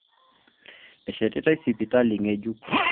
Eshetitai sipitali ng'ejuk